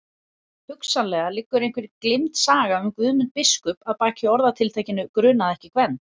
Hugsanlega liggur einhver gleymd saga um Guðmund biskup að baki orðatiltækinu grunaði ekki Gvend.